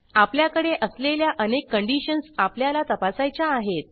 आपल्याकडे असलेल्या अनेक कंडिशन्स आपल्याला तपासायच्या आहेत